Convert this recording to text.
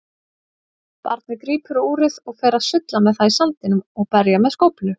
Barnið grípur úrið og fer að sulla með það í sandinum og berja með skóflu.